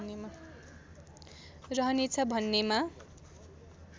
रहनेछ भन्नेमा